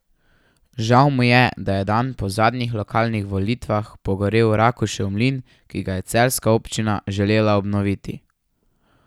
Žal mu je, da je dan po zadnjih lokalnih volitvah pogorel Rakušev mlin, ki ga je celjska občina želela obnoviti.